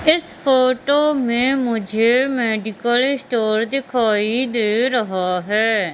इस फोटो में मुझे मेडिकल स्टोर दिखाई दे रहा है।